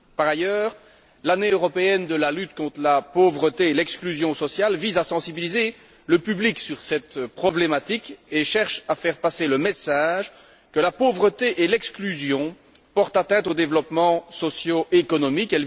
Par ailleurs, l'Année européenne de la lutte contre la pauvreté et l'exclusion sociale vise à sensibiliser le public à cette problématique et cherche à faire passer le message que la pauvreté et l'exclusion portent atteinte aux développements sociaux et économiques.